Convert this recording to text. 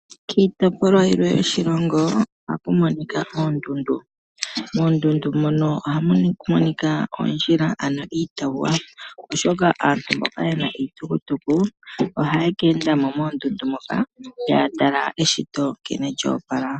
Kiitopolwa yimwe yoshilongo ohaku monika oondundu. Moondundu mono ohamu monika oondjila ano iitawuwa oshoka aantu mboka yena iitukutuku ohaye ke enda mo moondundu moka, taya tala nkene eshito lyo opala.